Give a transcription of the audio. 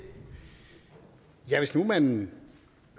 hvis nu man